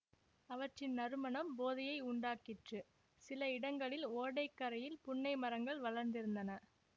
அவற்றின் நறுமணம் போதையை உண்டாக்கிற்று சில இடங்களில் ஓடை கரையில் புன்னை மரங்கள் வளர்ந்திருந்தன